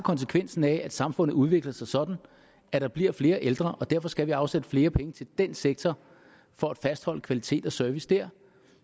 konsekvensen af at samfundet udvikler sig sådan at der bliver flere ældre og derfor skal vi afsætte flere penge til den sektor for at fastholde kvalitet og service der